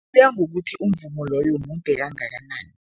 Kuya ngokuthi umvumo loyo mude kangakanani.